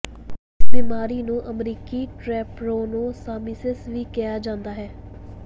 ਇਸ ਬਿਮਾਰੀ ਨੂੰ ਅਮਰੀਕੀ ਟਰੈਪ੍ਰੋਨੋਸਾਮਿਸਿਸ ਵੀ ਕਿਹਾ ਜਾਂਦਾ ਹੈ